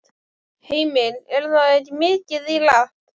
Heimir: Er það ekki mikið í lagt?